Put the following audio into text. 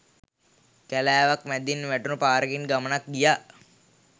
කැලෑවක් මැදින් වැටුණු පාරකින් ගමනක් ගියා.